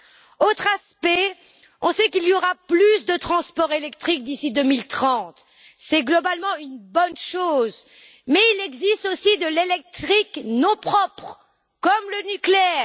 Un autre aspect, on sait qu'il y aura plus de transport électrique d'ici 2030, et c'est globalement une bonne chose, mais il existe aussi de l'électrique non propre, comme le nucléaire.